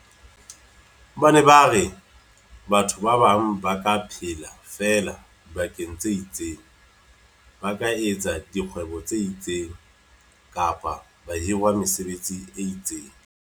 Ba ne ba re batho ba bang ba ka phela feela dibakeng tse itseng, ba ka etsa dikgwebo tse itseng, kapa ba hirwa mesebetsing e itseng.